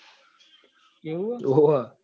એવું છે